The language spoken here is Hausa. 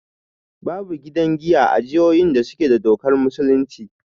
Babu gidan giya a jihohin da suke da dokar musulunci